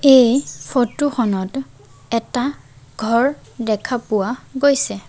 এই ফটো খনত এটা ঘৰ দেখা পোৱা গৈছে।